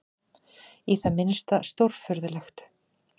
Í það minnsta stórfurðulegt.